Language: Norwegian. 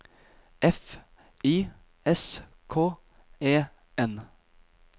F I S K E N